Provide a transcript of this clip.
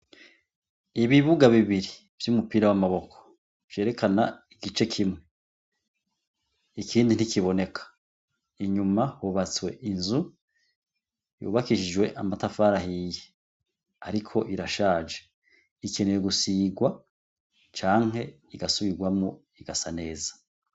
Ibibuga bibiri vy'umupira w'amaboko vyerekana igice kimwe. Ikindi ntikiboneka. Inyuma hubatswe inzu yubakishijwe amatafari ahiye, ariko irashaje ikeneye gusigwa canke igasubirwamwo igasa neza.